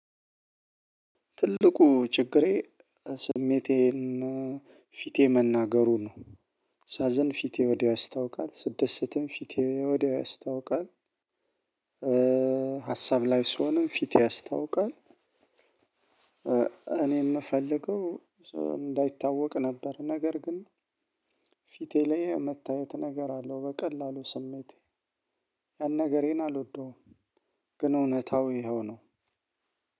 ትልቁ ችግሬ ስሜቴን ፊቴ መናገሩ ነው። ሳዝን ፊቴ ወዲያው ያስታውቃል ስደሰትም ፊቴ ወዲያው ያስታውቃል። ሀሳብ ላይ ስሆንም ፊቴ ያስታውቃል። እኔ የምፈልገው እንዳይታወቅ ነበር። ነገር ግን ፊቴ ላይ መታየት ነገር አለው። በቀላሉ ስሜቴ ያን ነገሬን አልወደውም። ግን እውነታው ይኸው ነው።